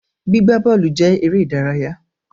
Gbígbaí bọ́ọ́lù jẹ èrè ìdárayá